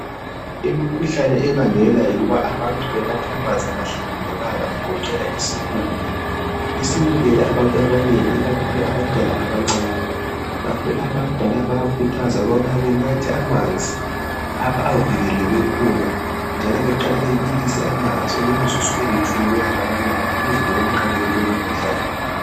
Imikhuhlane ebangelwa yikuthi abantu banathe amanzi angahlambulukanga. Ayilunganga isibulele abantu abanengi abancane. Ngakho abadala bayakhuthazwa ukubana benatha abamanzi kulapha okuvikeleke khona kumbe bawabulise bengakanathi ukuze beqabele lowu mkhuhlane.